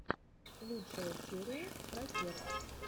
лучшая серия протех